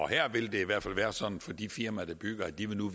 her vil det i hvert fald være sådan for de firmaer der bygger at de nu